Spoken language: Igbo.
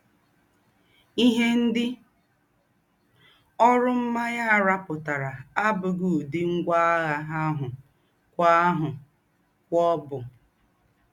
Íhe ńdị ọ́rụ́ m̀mányè à rùpùtàrà àbùghị údị́ ńgwá àgha àhụ́ kwò àhụ́ kwò bú.